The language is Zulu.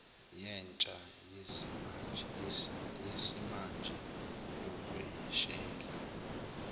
yentsha yesimanje yokweshela